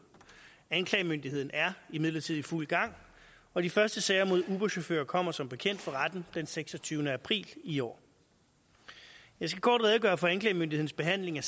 anklagemyndigheden er imidlertid i fuld gang og de første sager mod uberchauffører kommer som bekendt for retten den seksogtyvende april i år jeg skal kort redegøre for anklagemyndighedens behandling af